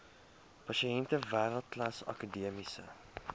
pasiënte wêreldklas akademiese